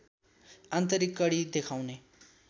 आन्तरिक कडी देखाउने